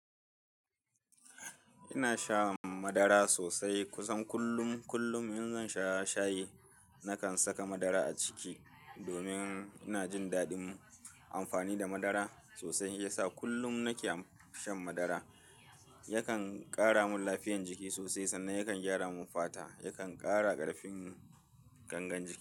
Ina sha madara sosai kusan kullum. Kullum in zan sha shayi nakan saka madara a ciki domin ina jin daɗin amfani da madara sosai. Yasa kullum nake shan madara, yakan ƙara mun lafiyan jiki sosai sannan yakan gyara mun fata, yakan ƙara ƙarfin gangan jiki.